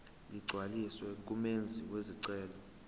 ligcwaliswe ngumenzi wesicelo